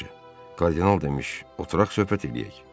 Yaxşı, kardinal demiş, oturaq söhbət eləyək.